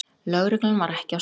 Lögreglan var ekki á staðnum